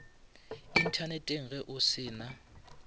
inthaneteng ge o se na